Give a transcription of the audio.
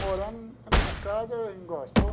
Morando na minha casa, em.